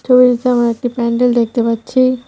ছবিটিতে আমরা একটি প্যান্ডেল দেখতে পাচ্ছি।